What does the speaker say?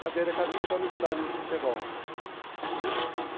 Cadeira cativa no estádio de futebol.